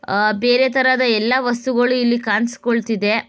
ಆ ಬೇರೆ ತರದ ಎಲ್ಲಾ ವಸ್ತುಗಳು ಇಲ್ಲಿ ಕಾಣ್ಸಕೊಳ್ತಿದೆ.